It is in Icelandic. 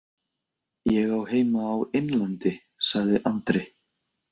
Ég á heima á Innlandi, sagði Andri.